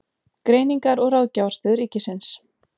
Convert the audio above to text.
Greiningar- og ráðgjafarstöð ríkisins.